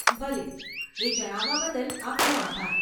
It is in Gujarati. ભલે, એ જણાવવા બદલ આપનો આભાર.